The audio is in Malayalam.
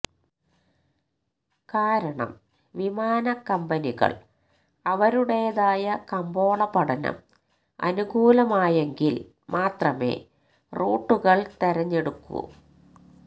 കാരണം വിമാനക്കമ്പനികള് അവരുടേതായ കമ്പോള പഠനം അനുകൂലമായെങ്കില് മാത്രമേ റൂട്ടുകള് തെരഞ്ഞെടുക്കൂ